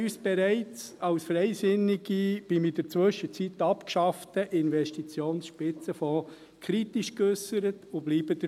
Bereits zum in der Zwischenzeit abgeschafften Investitionsspitzenfonds äusserten wir uns als Freisinnige kritisch, und wir bleiben dabei.